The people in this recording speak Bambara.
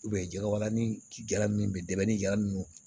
jɛgɛwalannikɛla min bɛ dɛmɛni jalan ninnu